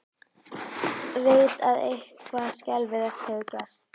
Veit að eitthvað skelfilegt hefur gerst.